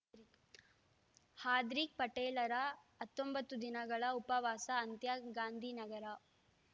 ಹಾರ್ದಿಕ್‌ ಪಟೇಲ್‌ರ ಹತ್ತೊಂಬತ್ತು ದಿನಗಳ ಉಪವಾಸ ಅಂತ್ಯ ಗಾಂಧಿನಗರ